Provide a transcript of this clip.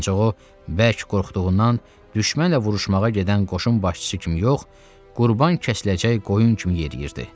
Ancaq o bərk qorxduğundan düşmənlə vuruşmağa gedən qoşun başçısı kimi yox, qurban kəsiləcək qoyun kimi yeriyirdi.